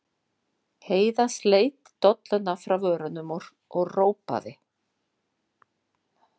Heiða sleit dolluna frá vörunum og ropaði.